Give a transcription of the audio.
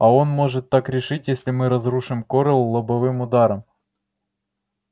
а он может так решить если мы разрушим корел лобовым ударом